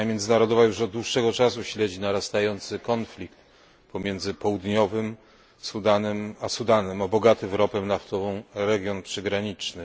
Opinia międzynarodowa już od dłuższego czasu śledzi narastający konflikt pomiędzy Południowym Sudanem a Sudanem o bogaty w ropę naftową region przygraniczny.